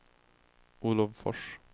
Olov Fors